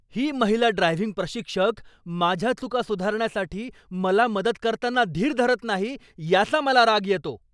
ही महिला ड्रायव्हिंग प्रशिक्षक माझ्या चुका सुधारण्यासाठी मला मदत करताना धीर धरत नाही, याचा मला राग येतो.